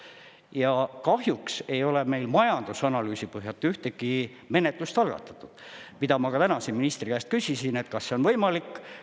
Ja kahjuks ei ole meil majandusanalüüsi põhjal ühtegi menetlust algatatud, mida ma ka täna siin ministri käest küsisin, et kas see on võimalik.